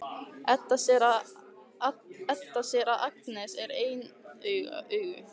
Edda sér að Agnes er ein augu.